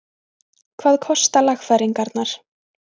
Hvað kosta lagfæringarnar?